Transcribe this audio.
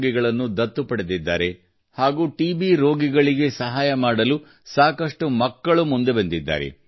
ರೋಗಿಗಳನ್ನು ದತ್ತು ಪಡೆದಿದ್ದಾರೆ ಹಾಗೂ ಟಿಬಿ ರೋಗಿಗಳಿಗೆ ಸಹಾಯ ಮಾಡಲು ಮುಂದೆ ಬಂದಿದ್ದಾರೆ